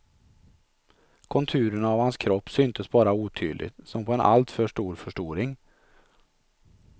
Konturerna av hans kropp syntes bara otydligt, som på en alltför stor förstoring.